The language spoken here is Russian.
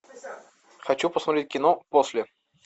хочу посмотреть кино после